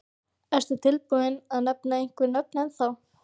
Ertu tilbúinn að nefna einhver nöfn ennþá?